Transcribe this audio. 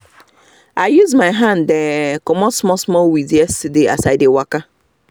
i use my hand um comot small weed yesterday as we dey waka